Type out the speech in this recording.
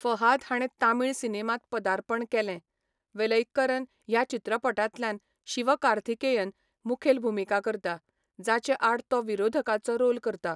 फहाध हाणें तमिळ सिनेमांत पदार्पण केलें, वेलैक्करन ह्या चित्रपटांतल्यान शिवकार्थिकेयन मुखेल भुमिका करता, जाचे आड तो विरोधकाचो रोल करता.